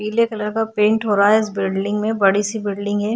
पीले कलर का पेंट हो रहा है इस बिल्डिंग में बड़ी सी बिल्डिंग है।